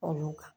Olu kan